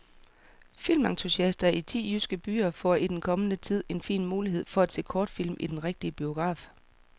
Filmentusiaster i ti jyske byer får i den kommende tid en fin mulighed for at se kortfilm i den rigtige biograf.